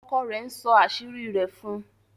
ọkọ rẹ nsọ àṣírí rẹ̀ fún.